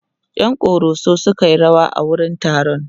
ƴan koroso sukayi rawa a wurin taron